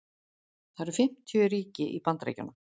það eru fimmtíu ríki í bandaríkjunum